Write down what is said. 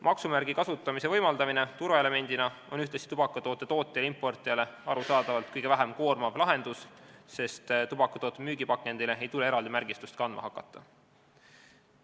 Maksumärgi kasutamise võimaldamine turvaelemendina on ühtlasi tubakatoodete tootjat ja importijat arusaadavalt kõige vähem koormav lahendus, sest tubakatoote müügipakendile ei tule eraldi märgistust kandma hakata.